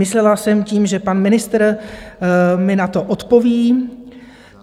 Myslela jsem tím, že pan ministr mi na to odpoví.